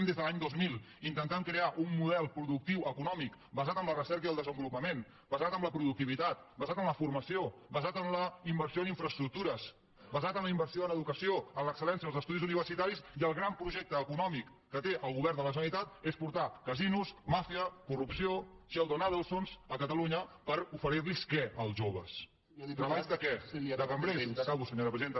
des de l’any dos mil que intentem crear un model productiu econòmic basant en la recerca i el desenvolupament basat en la productivitat basat en la formació basat en la inversió en infraestructures basat en la inversió en educació en l’excelversitaris i el gran projecte econòmic que té el govern de la generalitat és portar casinos màfia corrupció sheldons adelsons a catalunya per oferir los què als joves treballs de què de cambrers ja acabo senyora presidenta